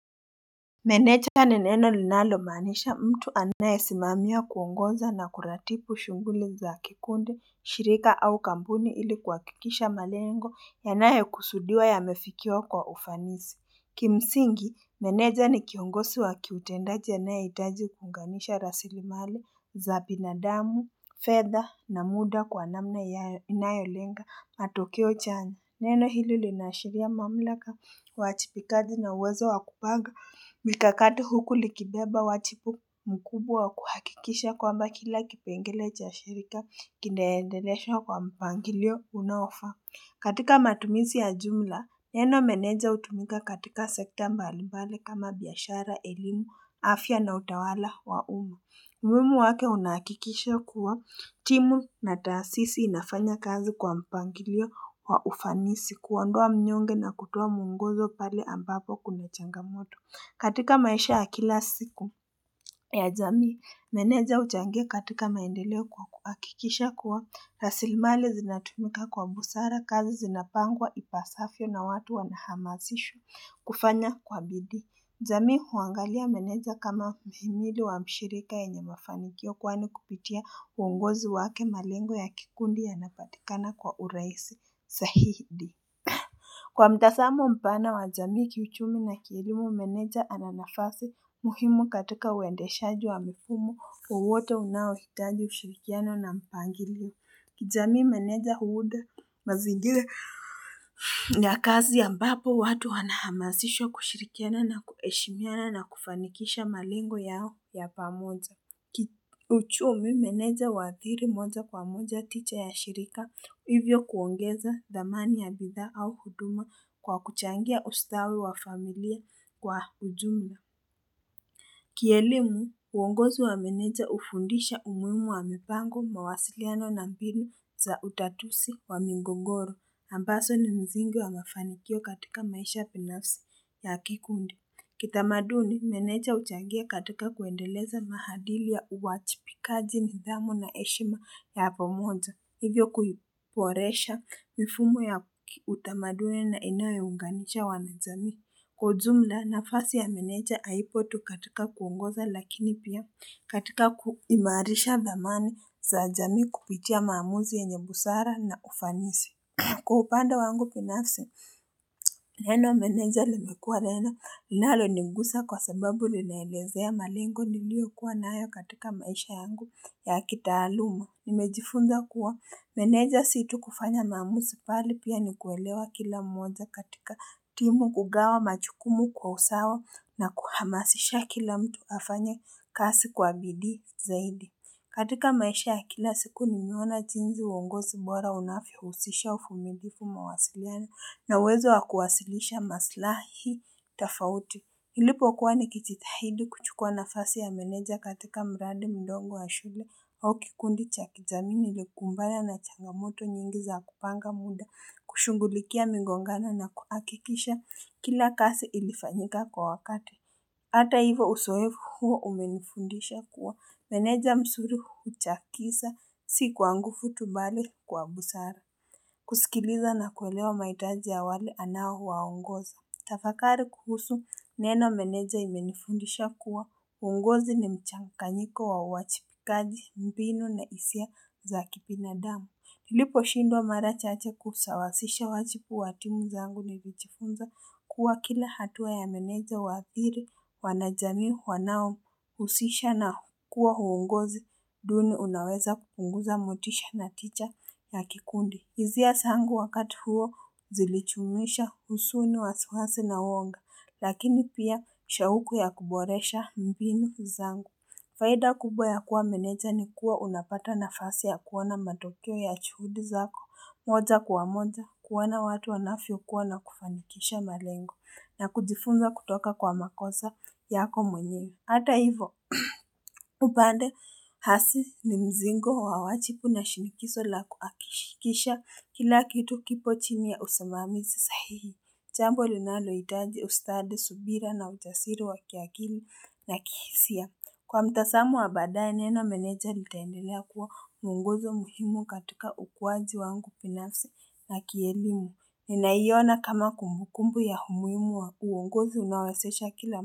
Meneja ni neno linalomaanisha mtu anayesimamia kuongoza na kuratibu shughuli za kikundi, shirika au kampuni ili kuhakikisha malengo yanayokusudiwa yamefikiwa kwa ufanisi. Kimsingi, meneja ni kiongosi wa kiutendaji anayeitaji kuunganisha rasilimali za binadamu, fedha na muda kwa namna ya inayolenga matokeo chanya. Neno hilo linaashiria mamlaka uwajipikaji na uwezo wa kupanga. Mikakati huku likibeba wachipu mkubwa wa kuhakikisha kwamba kila kipengele cha shirika kinaendeleshwa kwa mpangilio unaofaa. Katika matumizi ya jumla, neno meneja hutumika katika sekta mbalimbali kama biashara, elimu, afya na utawala wa umu. Umuimu wake unahakikisha kuwa timu na taasisi inafanya kazi kwa mpangilio wa ufanisi kuondoa mnyonge na kutoa mwongozo pale ambapo kuna changamoto. Katika maisha ya kila siku ya jamii, meneja huchangia katika maendeleo kwa kuhakikisha kuwa rasilmali zinatumika kwa busara kazi zinapangwa ipasafyo na watu wanahamasishwa kufanya kwa bidii. Jamii huangalia meneja kama mhimili wa mshirika yenye mafanikio kwani kupitia uongozi wake malengo ya kikundi yanapatikana kwa uraisi sahidi. Kwa mtasamo mpana wa jamii kiuchumi na kielimu meneja ana nafasi muhimu katika uendeshaji wa mfumo wowote unaohitaji ushirikiano na mpangilio. Kijamii meneja huuda mazingila ya kazi ambapo watu wanahamasishwa kushirikiana na kuheshimiana na kufanikisha malengo yao ya pamoja. Uchumi meneja huathiri moja kwa moja tija ya shirika hivyo kuongeza thamani ya bidhaa au huduma kwa kuchangia ustawi wa familia kwa ujumla. Kielimu, uongozi wa meneja hufundisha umuimu wa mipango mawasiliano na mbinu za utatusi wa migogoro, ambaso ni mzigo wa mafanikio katika maisha pinafsi ya kikundi. Kitamaduni, meneja huchangia katika kuendeleza maadili ya uwachipikaji nidhamu na eshima ya pamoja. Hivyo kuiporesha mifumo ya utamaduni na inayounganisha wanajamii Kwa ujumla nafasi ya meneja haipo tu katika kuongoza lakini pia katika kuimarisha thamani za jamii kupitia maamuzi yenye busara na ufanisi. Kwa upande wangu pinafsi, neno meneja limekua neni linaloningusa kwa sababu linaelezea malengo niliokuwa nayo katika maisha yangu ya kitaaluma. Nimejifunza kuwa meneja si tu kufanya maamuzi pale pia ni kuelewa kila mmoja katika timu kugawa machukumu kwa usawa na kuhamasisha kila mtu afanye kasi kwa bidii zaidi katika maisha ya kila siku nimeona jinzi uongozi bora unafyohusisha ufumilifu mawasiliano na uwezo wa kuwasilisha maslahi tafauti nilipokuwa nikichitahidi kuchukua nafasi ya meneja katika mradi mdogo wa shule au kikundi cha kijamii nilikumbana na changamoto nyingi za kupanga muda kushughulikia mingongano na kuakikisha kila kasi ilifanyika kwa wakati Ata hivo usoefu huo umenifundisha kuwa meneja msuri huchakisa si kwa ngufu tu bali kwa busara kusikiliza na kuelewa maitaji ya wale anaowaongoza Tafakari kuhusu neno meneja imenifundisha kuwa uongozi ni mchanganyiko wa uwachipikaji mbinu na isia za kipinadamu. Niliposhindwa mara chache kusawasisha wachipu wa timu zangu nilichifunza kuwa kila hatua ya meneja huathiri wanajamii wanaohusisha na kuwa uongozi duni unaweza kupunguza motisha na ticha na kikundi. Izia sangu wakati huo zilichumuisha usuni wasuhasi na woga, lakini pia shauku ya kuboresha mbinu zangu. Faida kubwa ya kuwa meneja ni kuwa unapata nafasi ya kuona matokeo ya chuhudi zako, moja kwa moja kuona watu wanafyokuwa na kufanikisha malengo, na kujifunza kutoka kwa makosa yako mwenye. Hata hivo, upande hasi ni mzingo wa wachipu na shinikiso la kuakishikisha kila kitu kipo chimi ya usamamizi sahihi. Chambo linaloitaji ustadi, subira na ujasiri wa kiakili na kihisia. Kwa mtasamo wa baadaye neno meneja litaendelea kuwa uongozo muhimu katika ukuwaji wangu pinafsi na kielimu. Ninaiona kama kumbukumbu ya humuimu wa uonguzi unaowezesha kila mtasamu.